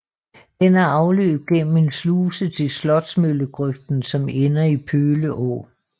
Den har afløb gennem en sluse til Slotsmøllegrøften som ender i Pøle Å